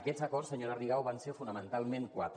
aquests acords senyora rigau van ser fonamentalment quatre